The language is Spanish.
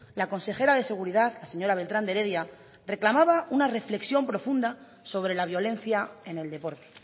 la consejera de seguridad la señora beltrán de heredia reclamaba una reflexión profunda sobre la violencia en el deporte